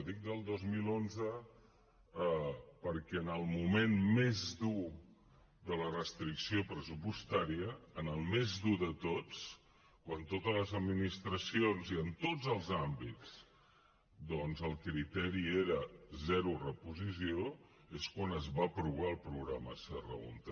dic des del dos mil onze perquè en el moment més dur de la restricció pressupostària en el més dur de tots quan en totes les administracions i en tots els àmbits doncs el criteri era zero reposició és quan es va aprovar el programa serra húnter